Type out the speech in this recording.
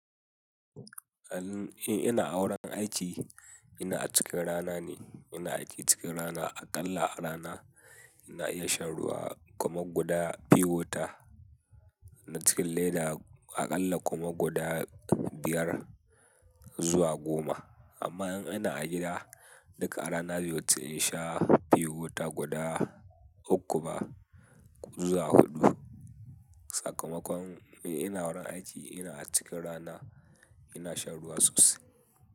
In ina a wurin aiki, ina a cikin rana ne, ina ajiye cikin rana. Aƙalla a rana ina iya shan ruwa kuma guda pure water na cikin leda aƙalla kuma guda biyar zuwa goma. Amma in ina a gida, duƙa a rana bai wuce in sha pure wata guda uku ba zuwa huɗu. Sakamakon ina wurin aiki ina a cikin rana ina shan ruwa sosai.